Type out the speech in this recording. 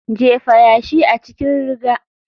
Jefa yashi a cikin riga.